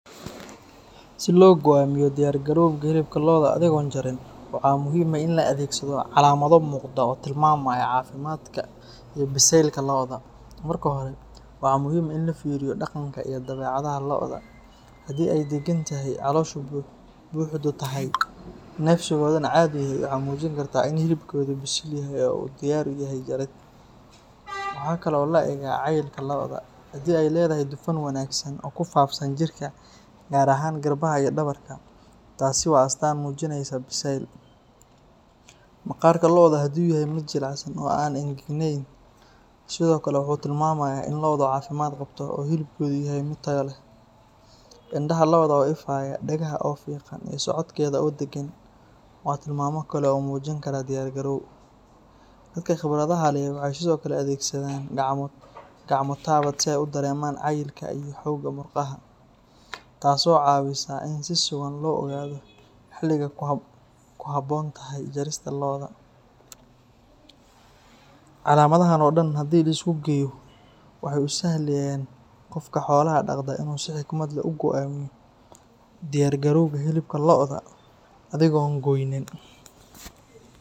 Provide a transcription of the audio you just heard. Silo goamiyo hilibka lodha athigon jarin waxaa muhiim ah in la adhegsadho calamadho muqda oo tilmamaya cafimaadka iyo biselka lodha, waxaa muhiim ah in lafiriyo dawecadhaha lodha ee dagantoho caloshaa buxda ah nafsigodhana cadhi ayu umijin karaa in hilibkodhaa oo diyar yahay, waxaa kalo cayilka lodha waxee ledhahay dufan wanagsan oo kusaleysan jirka gar ahan garabka iyo dawarka take waa astan, maqarka lodha haduu yahay miid jilecsan oo an angagnen sithokale wuxuu tilmamaya in lodhu hilibka u yahay miid taya leh indaha lodha wey ifayan dagahedha iyo socodkedha oo dagan waxaa kalo u mujin karaa dadka qibradhaha leh wuxuu mujin karaa gacmo qawaad si ee u dareman cayilka murqaha taso cawinaya in ee xiliga ku habontahay lodha, calamadahan dan hada lasku geyo diyar garowga hilibka lodha athigon goynin.